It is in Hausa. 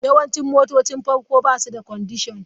Yawancin motocin farko ba su da kwandishan.